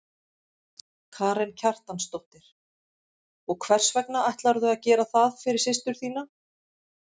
Karen Kjartansdóttir: Og hvers vegna ætlarðu að gera það fyrir systur þína?